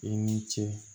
I ni ce